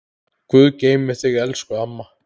Guð geymi þig elsku amma.